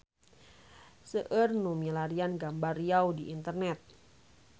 Seueur nu milarian gambar Riau di internet